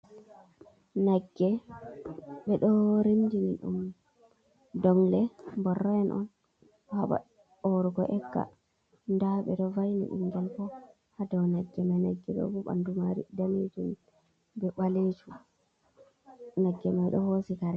Nagge ɓe ɗo rimdini ɗum dongle, bororo en on haɓa orugo egga, nda ɓe ɗo vai'ni ɓingal bo ha dou nagge mai nagge ɗo bo ɓandu maari daneejum be ɓaleejum nagge mai ɗo hoosi kare.